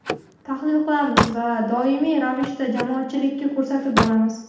tahlil qilamiz va doimiy ravishda jamoatchilikka ko‘rsatib boramiz!.